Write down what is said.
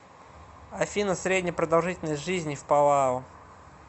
афина средняя продолжительность жизни в палау